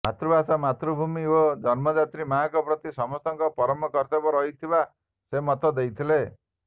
ମାତୃଭାଷା ମାତୃଭୂମୀ ଓ ଜନ୍ମଦାତ୍ରୀ ମାଆ ପ୍ରତି ସମସ୍ତଙ୍କର ପରମ କର୍ତବ୍ୟ ରହିଥିବା ସେ ମତ ଦେଇଥିଲେ